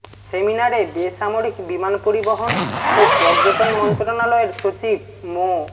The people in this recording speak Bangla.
সেমিনারে বেসামরিক বিমান পরিবহন ও পর্যটন মন্ত্রণালয়ের সচিব মো